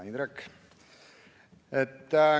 Hea Indrek!